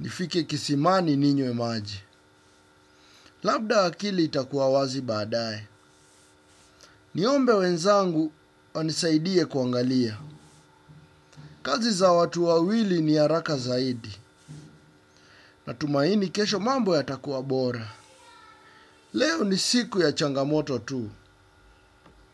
nifike kisimani ninywe maji. Labda akili itakua wazi badae niombe wenzangu wanisaidie kuangalia kazi za watu wawili ni haraka zaidi, na tumaini kesho mambo ya takuwa bora. Leo ni siku ya changamoto tu.